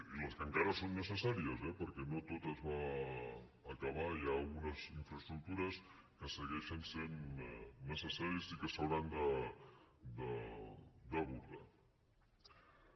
i les que encara són necessàries eh perquè no tot es va acabar hi ha algunes infraestructures que segueixen sent necessàries i que s’hauran d’abordar